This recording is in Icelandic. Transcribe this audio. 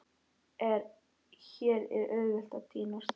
Hér er auðvelt að týnast.